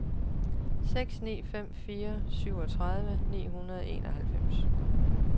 seks ni fem fire syvogtredive ni hundrede og enoghalvfems